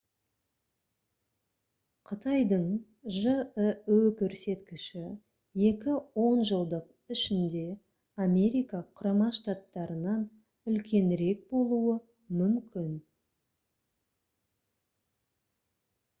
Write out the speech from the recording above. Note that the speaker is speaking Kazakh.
қытайдың жіө көрсеткіші екі он жылдық ішінде америка құрама штаттарынан үлкенірек болуы мүмкін